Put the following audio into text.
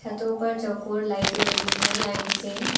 तो ऊपर चौकोर लाइटें लगी हैं लाइन से।